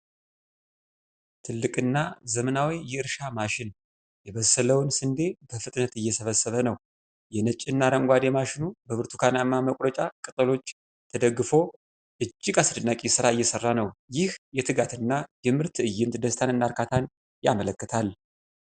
ትልቅ እና ዘመናዊ የእርሻ ማሽን የበሰለውን ስንዴ በፍጥነት እየሰበሰበ ነው። የነጭ እና አረንጓዴ ማሽኑ በብርቱካናማ መቁረጫ ቅጠሎች ተደግፎ እጅግ አስደናቂ ሥራ እየሠራ ነው። ይህ የትጋት እና የምርት ትዕይንት ደስታንና እርካታን ያመለክታል።